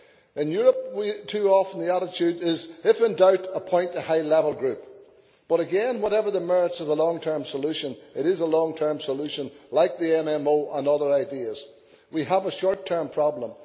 In Europe, too often the attitude is if in doubt appoint a high level group', but again, whatever the merits of the long term solution, it is a long term solution like the MMO and other ideas, when what we have is a short term problem.